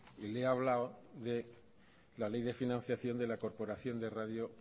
y le he hablado de la ley de financiación de la corporación de radio